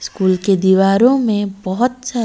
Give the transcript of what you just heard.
school की दिवारो मैं बहोत सारी--